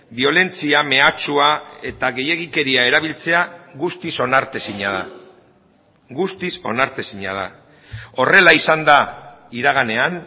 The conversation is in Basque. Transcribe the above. biolentzia mehatxua eta gehiegikeria erabiltzea guztiz onartezina da guztiz onartezina da horrela izan da iraganean